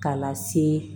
K'a lase